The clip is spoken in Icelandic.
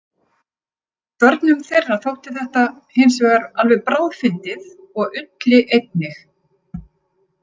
Börnum þeirra þótti þetta hinsvegar alveg bráðfyndið og Ulli einnig.